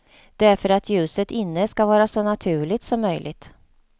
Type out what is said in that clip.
Det är för att ljuset inne ska vara så naturligt som möjligt.